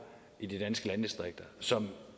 i de danske landdistrikter og som